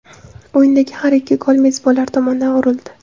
O‘yindagi har ikki gol mezbonlar tomonidan urildi.